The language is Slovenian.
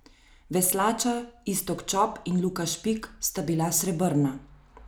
Veslača Iztok Čop in Luka Špik sta bila srebrna.